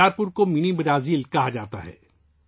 بیچارپور کو mini Brazil بھی کہا جاتا ہے